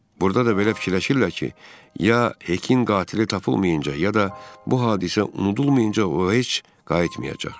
Burda da belə fikirləşirlər ki, ya Hekin qatili tapılmayınca ya da bu hadisə unudulmayınca o heç qayıtmayacaq.